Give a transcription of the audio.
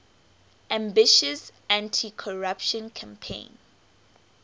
ambitious anticorruption campaign